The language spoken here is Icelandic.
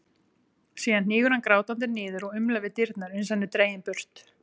Síðan hnígur hann grátandi niður og umlar við dyrnar uns hann er dreginn burt.